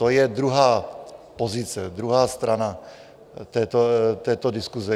To je druhá pozice, druhá strana této diskuse.